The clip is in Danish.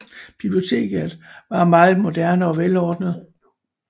Biblioteket var meget moderne og velordnet